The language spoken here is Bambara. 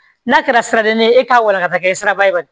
N'a kɛra siraden ye e k'a wara ka taa kɛ siraba ye